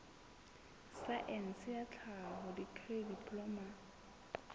saense ya tlhaho dikri diploma